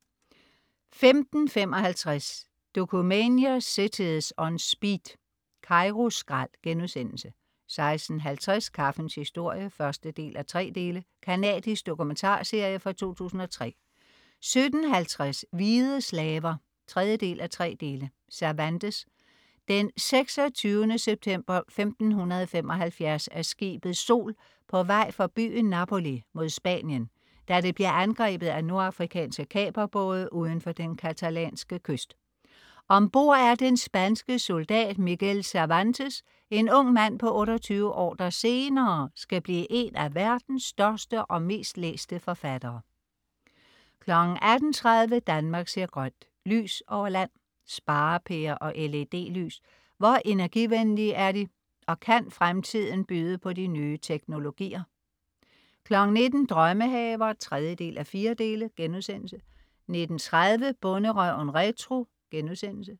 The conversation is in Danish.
15.55 Dokumania: Cities On Speed. Kairo skrald* 16.50 Kaffens historie 1:3. Canadisk dokumentarserie fra 2003 17.50 Hvide slaver 3:3. Cervantes. Den 26. september 1575 er skibet Sol på vej fra byen Napoli mod Spanien, da det bliver angrebet af nordafrikanske kaperbåde udenfor den catalanske kyst. Ombord er den spanske soldat Miguel Cervantes, en ung mand på 28 år, der senere skal blive en af verdens største og mest læste forfattere 18.30 Danmark ser grønt: Lys over land. Sparepærer og LED lys, hvor energivenlige er de, og kan fremtiden byde på nye teknologier? 19.00 Drømmehaver 3:4* 19.30 Bonderøven retro*